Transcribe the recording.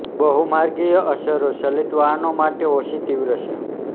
બહુમાર્ગીય અસરો ચલિત વાહનો માટે ઓછી તીવ્ર છે